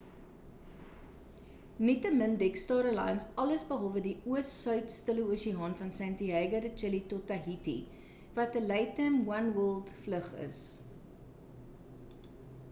nietemin dek star alliance alles behalwe die oos suid stille oseaan van santiago de chile tot tahiti wat 'n latam oneworld vlug is